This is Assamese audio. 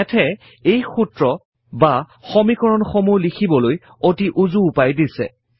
Math এ এই সূত্ৰ বা সমীকৰণ সমূহ লিখিবলৈ অতি উজু উপায় দিছে